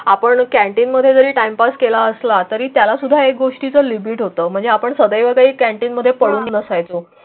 आपण कॅन्टीनमध्ये जरी टाइमपास केला असला तरी त्यालासुद्धा एक गोष्टीचं लिमिट होतो. म्हणजे आपण सदैव कॅन्टीनमध्ये पडून नसायचो.